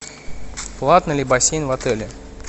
платный ли бассейн в отеле